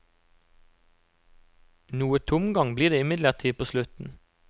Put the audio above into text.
Noe tomgang blir det imidlertid på slutten.